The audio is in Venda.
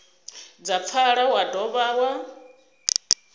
dza pfala wa dovha wa